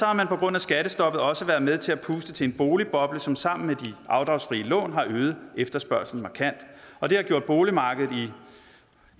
har man på grund af skattestoppet også været med til at puste til en boligboble som sammen med de afdragsfrie lån har øget efterspørgslen markant og det har gjort boligmarkedet i